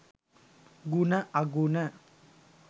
ගුණ අගුණ